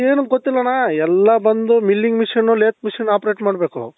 ಏನು ಗೊತ್ತಿಲ್ಲಣ್ಣ ಎಲ್ಲ ಬಂದು milling machine lathe machine operate ಮಾಡ್ಬೇಕು